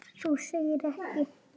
Þú segir ekki.